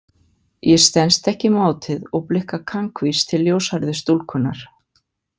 Ég stenst ekki mátið og blikka kankvís til ljóshærðu stúlkunnar.